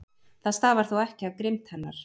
Það stafar þó ekki af grimmd hennar.